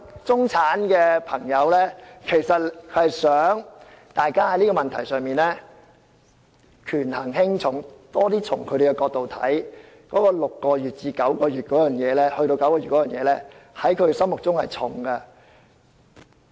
中產的朋友希望大家在這個問題上權衡輕重，多從他們的角度考慮，把換樓退稅寬限期由6個月延長至9個月，在他們心目中是"重"的。